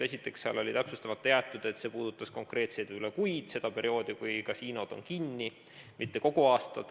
Esiteks, seal oli täpsustamata jäetud, et see puudutas konkreetseid kuid, seda perioodi, kui kasiinod on kinni, mitte kogu aastat.